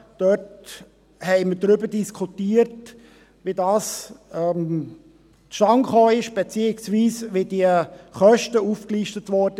Dort haben wir darüber diskutiert, wie das zustande gekommen ist, beziehungsweise wie diese Kosten aufgelistet wurden.